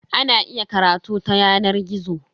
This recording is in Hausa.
Ana iya karatu ta yanar gizo.